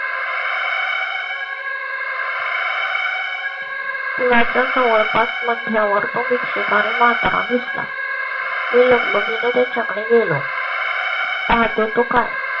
कुणा चं जवळपास मध्यावर तो भिक्षक आणि म्हातारा दिस ला. मी लगबगी ने त्याच्याकडे गेलो. पाहतो तो काय